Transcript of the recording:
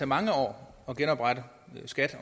mange år at genoprette skat